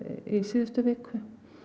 í síðustu viku